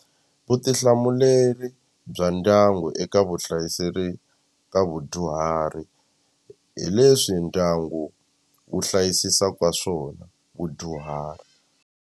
Vutihlamuleri bya ndyangu eka vuhlayiseri ka vudyuhari hi leswi ndyangu wu hlayisisaka swona vudyuhari.